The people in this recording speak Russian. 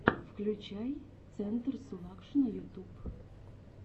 включай центр сулакшина ютуб